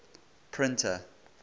printer